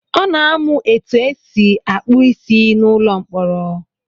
Ọ na-amụ etu esi akpụ isi n'ụlọ mkpọrọ.